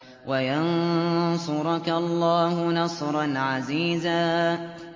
وَيَنصُرَكَ اللَّهُ نَصْرًا عَزِيزًا